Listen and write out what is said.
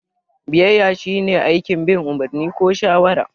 Biyayya shine aikin bin umarni ko shawara.